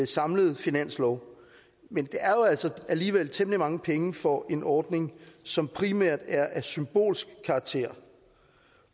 samlede finanslov men det er altså alligevel temmelig mange penge for en ordning som primært er af symbolsk karakter